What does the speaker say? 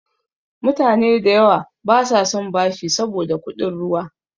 Mutane da yawa basa son bashi saboda kuɗin ruwa.